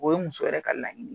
O ye muso yɛrɛ ka laɲini ye.